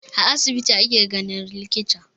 A asibiti ake ganin likita.